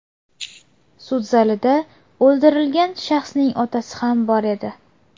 Sud zalida o‘ldirilgan shaxsning otasi ham bor edi.